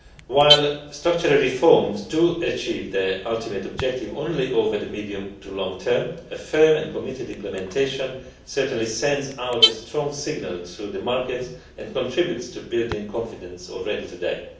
While structural reforms achieve their ultimate objective only over the medium to long term, a firm and committed implementation certainly sends out a strong signal to the market and contributes to building confidence already today.